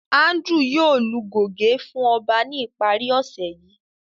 Andrew yoo lu goge fun ọba ni ipari ose yii.